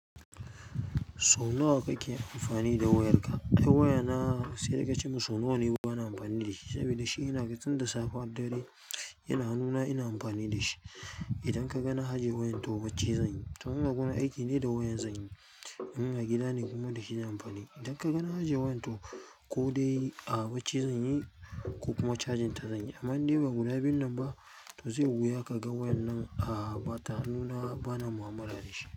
So nawa kake amfani da wayarka? Ai wayana sai dai ka ce min so nawa ne bana amfani da shi saboda shi ina ga tun da safe har dare yana nuna ina amfani da shi. Idan ka ga na ajiye wayan to bacci zan yi. Toh in agurin aiki ne da wayan zan yi. In a gida ne kuma da shi zan amfani. Idan ka ga na ajiye wayan to ko dai a bacci zan yi ko kuma charging ta zan yi. Amma in dai ba guda biyun nan ba to zai wuya kaga wayan nan bata hannuna bana mu'amala dashi.